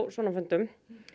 svona fundum